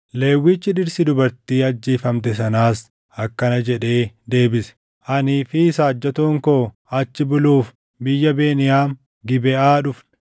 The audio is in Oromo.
Lewwichi dhirsi dubartii ajjeefamte sanaas akkana jedhee deebise; “Anii fi saajjatoon koo achi buluuf biyya Beniyaam Gibeʼaa dhufne.